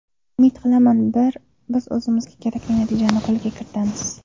Umid qilaman, biz o‘zimizga kerakli natijani qo‘lga kiritamiz.